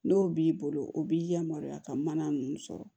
N'o b'i bolo o b'i yamaruya ka mana ninnu sɔrɔ